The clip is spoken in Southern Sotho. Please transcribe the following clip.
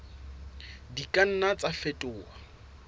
di ka nna tsa fetoha